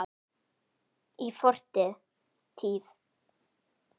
Í fortíð!